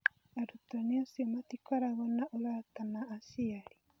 Arutani acio matikoragwo na ũrata na aciari.